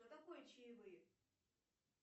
что такое чаевые